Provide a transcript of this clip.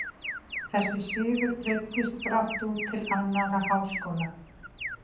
Þessi siður breiddist brátt út til annarra háskóla.